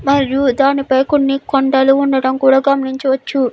మరియు దాని పై కొన్ని కొండలు ఉండడం కూడా గమనించవచ్చు.